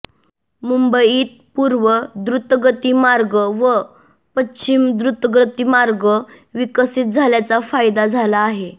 मुंबईत पूर्व द्रुतगती मार्ग व पश्चिम द्रुतगती मार्ग विकसित झाल्याचा फायदा झाला आहे